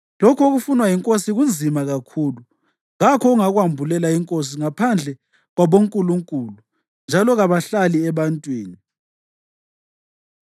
Lokhu okufunwa yinkosi kunzima kakhulu. Kakho ongakwambulela inkosi ngaphandle kwabonkulunkulu, njalo kabahlali ebantwini.”